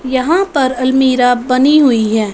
यहां पर अलमीरा बनी हुई है।